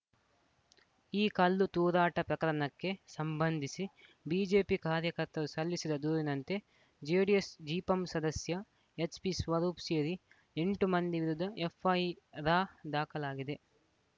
ಈ ಕಲ್ಲು ತೂರಾಟ ಪ್ರಕರಣಕ್ಕೆ ಸಂಬಂಧಿಸಿ ಬಿಜೆಪಿ ಕಾರ್ಯಕರ್ತರು ಸಲ್ಲಿಸಿದ ದೂರಿನಂತೆ ಜೆಡಿಎಸ್‌ ಜಿಪಂ ಸದಸ್ಯ ಎಚ್‌ಪಿಸ್ವರೂಪ್‌ ಸೇರಿ ಎಂಟು ಮಂದಿ ವಿರುದ್ಧ ಎಫ್‌ಐ ರ್‌ ದಾಖಲಾಗಿದೆ